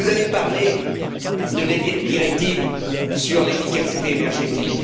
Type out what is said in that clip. Vous avez parlé de la directive sur l'efficacité énergétique.